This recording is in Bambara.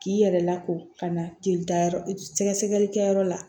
K'i yɛrɛ lako ka na jelita yɔrɔ sɛgɛsɛgɛli kɛ yɔrɔ la